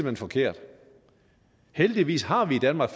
er forkert heldigvis har vi i danmark